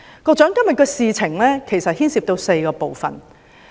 今天的事情其實牽涉到4個部分。